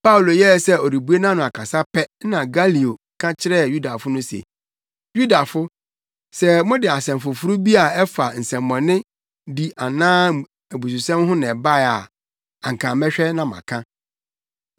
Paulo yɛɛ sɛ ɔrebue nʼano akasa pɛ na Galio ka kyerɛɛ Yudafo no se, “Yudafo, sɛ mode asɛm foforo bi a ɛfa nsɛmmɔnedi anaa abususɛm ho na ɛbae a, anka mɛhwɛ na maka.